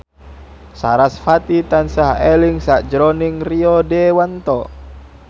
sarasvati tansah eling sakjroning Rio Dewanto